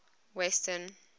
western